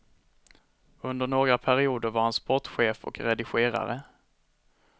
Under några perioder var han sportchef och redigerare.